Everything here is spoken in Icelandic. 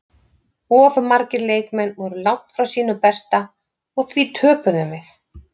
Of margir leikmenn voru langt frá sínu besta og því töpuðum við.